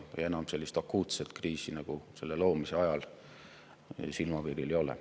Enam sellist akuutset kriisi, nagu ESM‑i loomise ajal, silmapiiril ei ole.